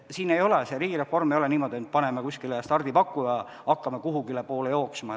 Riigireform ei ole niimoodi, et paneme kuskile stardipaku ja hakkame kuhugipoole jooksma.